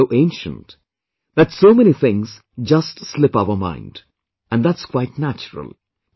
It is so ancient... that so many things just slip our mind...and that's quite natural